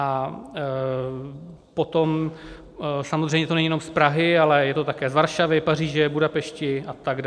A potom samozřejmě to není jenom z Prahy, ale je to také z Varšavy, Paříže, Budapešti atd.